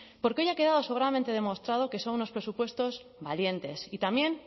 porque hoy ha quedado sobradamente demostrado que son unos presupuestos valientes y también